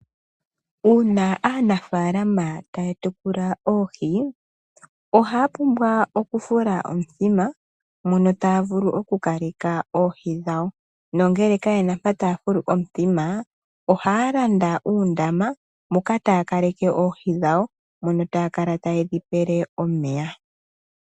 Uuna aanafalama tatekula oohii ohapumbwa Okufuta omudhima mono tavulu okukalela oohii dhawo, nongele kayena mpa tafulu omudhima, oholanda uundama moka takaleke oohii dhawo mono takala tayedhi pele omeya.